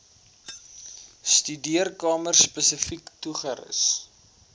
studeerkamer spesifiek toegerus